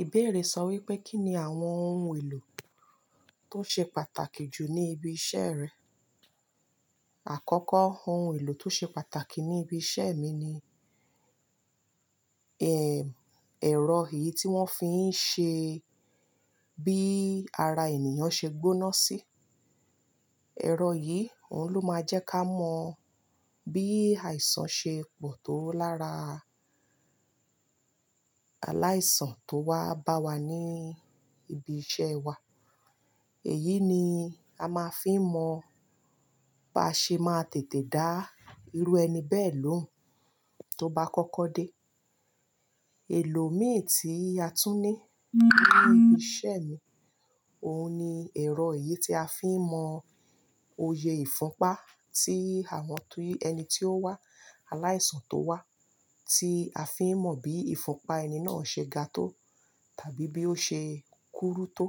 Ìbéèrè sọ wípé, kí ni àwọn ohun èlò tó ṣe pàtàkì jù ní ibi iṣẹ́ rẹ? Àkọ́kọ́ ohun èlò tó ṣe pàtàkì ní ibi iṣẹ́ mi ni, ehm, ẹ̀rọ èyí tí wọ́n fi ń ṣe bí ara ènìyàn ṣe gbóná sí. Ẹ̀rọ yìí, òhun ló máa ń jẹ́ ká mọ bí àìsàn ṣe pọ̀ tó lára aláìsàn tó wá bá wa ní ibi iṣẹ́ wa. Èyí ni a máa ń fi mọ bá ṣe máa tètè dá irú ẹni bẹ́ẹ̀ lóhùn tó bá kọ́kọ́ dé. Èlò mìí tí a tún ní ní ibi iṣẹ́ mi, òun ni ẹ̀rọ èyí tí a fi ń mọ òye ìfúnpá tí àwọn tí ẹni tí ó wá, aláìsàn tó wá, tí a fi ń mọ bí ìfúnpá ẹni náà ṣe ga tó tàbí bí ó ṣe kúrú tó.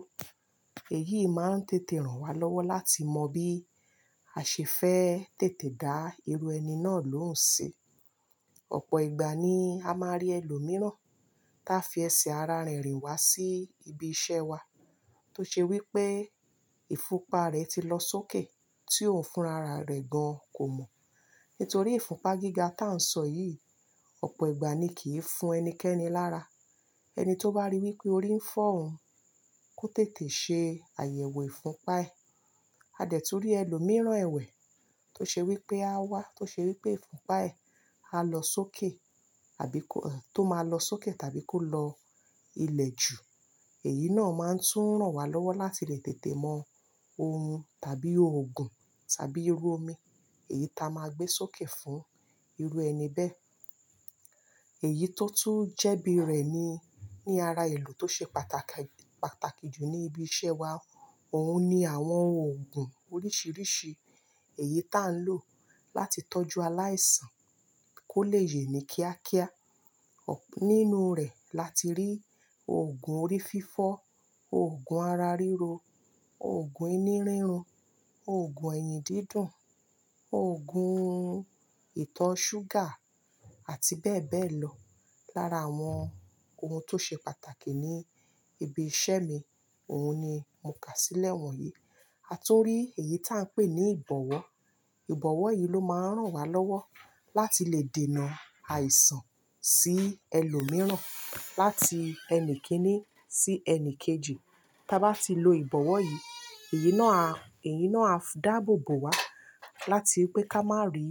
Èyí máa ń tètè ràn wá lọ́wọ́ láti mọ bí a ṣe fẹ́ tètè dá irú ẹni náà lóhùn sí. Ọ̀pọ̀ ìgbà nii a máa rí ẹlòmíràn táa fi ẹsẹ̀ ara rẹ̀ rìn wá sí ibi iṣẹ́ wa, tóò ṣe wípé ìfúnpá rẹ̀ ti lọ sókè tí òhun fúnra rẹ̀ gan kò mọ̀ nítorí ìfúnpá gíga ta ń sọ yìí, ọ̀pọ̀ ìgbà ni kì í fún ẹnikẹ́ni lára. Ẹni tó bá ríi wípé orí ń fọ́ òun, kó tètè ṣe àyẹ̀wò ìfúnpá ẹ̀. A dẹ̀ tún rí ẹlòmíràn ẹ̀wẹ̀ tó ṣe wípé aa wá, tó ṣe wípé ìfúnpá ẹ̀ á lọ sókè àbí kó, tò máa lọ sókè tàbí kó lọ ilẹ̀ ju. Èyí náà máa ń tún ràn wá lọ́wọ́ láti lè tètè mọ ohun tàbí òògùn tàbí irú omi èyí ta máa gbé sókè fún irú ẹni bẹ́ẹ̀. Èyí tó tún jẹ́bi rẹ̀ ni, ní ara èlò tó ṣe pàtàkì, pàtàkì jù ní ibi iṣẹ́ wa, òun ni àwọn òògùn oríṣiríṣi èyí táa ń lò láti tọ́jú aláìsàn kó lè yè mí kíákíá. Nínú rẹ̀ la ti rí òògùn orí fífọ́, òògùn ara ríro, òògùn inú rírun, òògùn ẹ̀yìn dídùn, òògùn ìtọ̀ ọ ṣúgà àti bẹ́ẹ̀bẹ́ẹ̀ lọ. Lára àwọn ohun tó ṣe pàtàkì ní ibi iṣẹ́ mi, òun ni mo kà sílẹ̀ wọ̀nyí. A tún rí èyí tà ń pè ní ìbọ̀wọ́. Ìbọ̀wọ́ yìí ló máa ń rànwálọ́wọ́ láti lè dènà àìsàn sí ẹlòmíràn láti ẹnìkínní sí ẹnìkejì. Táa bá ti lo ìbọ̀wọ́ yìí, èyí náà á, èyí náà á dàbòbò wá láti pẹ́ ká má rí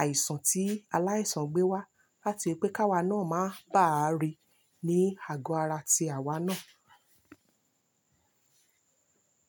àìsàn tí aláìsàn gbé wá láti pẹ́ ká wa náà má bàá rí ní àgọ́ ara ti àwa náà.